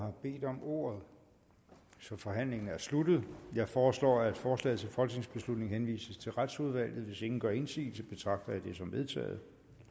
har bedt om ordet så forhandlingen er sluttet jeg foreslår at forslaget til folketingsbeslutning henvises til retsudvalget hvis ingen gør indsigelse betragter jeg det som vedtaget